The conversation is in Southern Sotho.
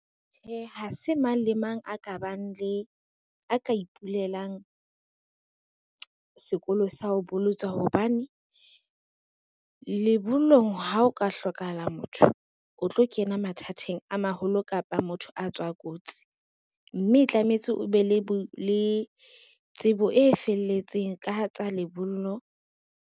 Tjhe ha se mang le mang a ka ipulelang sekolo sa ho bolotsa hobane, lebollong ha o ka hlokahala motho o tlo kena mathateng a maholo kapa motho a tswa kotsi, mme tlametse o be le tsebo e felletseng ka tsa lebollo.